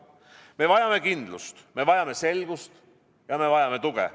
Me vajame kindlust, me vajame selgust ja me vajame tuge.